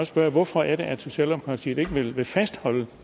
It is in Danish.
spørge hvorfor er det at socialdemokratiet ikke vil vil fastholde